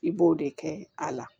I b'o de kɛ a la